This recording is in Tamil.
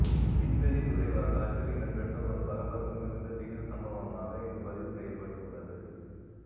விண்வெளித்துறை வரலாற்றில் இடம்பெற்ற ஒரு பரபரப்பு மிகுந்த திகில் சம்பவமாக இது பதிவுசெய்யப்பட்டுள்ளது